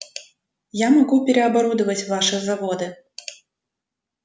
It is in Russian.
я могу переоборудовать ваши заводы